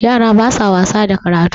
yara ba sa wasa da karatu